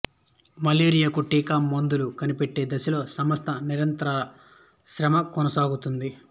malaria కు టీకా మందులు కనిపెట్టే దిశలో సంస్థ నిరంతర శ్రమ కొనసాగుతుంది